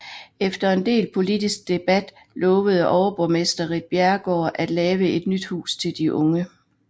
Efter en del politisk debat lovede overborgmester Ritt Bjerregaard at lave et nyt hus til de unge